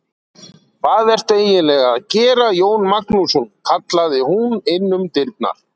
Hvað ertu eiginlega að gera Jón Magnússon, kallaði hún inn um dyrnar.